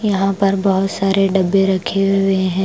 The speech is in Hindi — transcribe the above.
यहां पर बहुत सारे डब्बे रखे हुए है ।